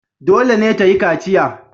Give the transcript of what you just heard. Dole ne ta yi kaciya.